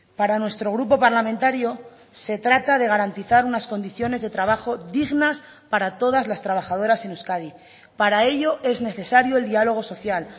para nuestro grupo parlamentario se trata de garantizar unas condiciones de trabajo dignas para todas las trabajadoras en euskadi para ello es necesario el diálogo social